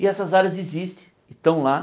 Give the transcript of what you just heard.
E essas áreas existe, e estão lá.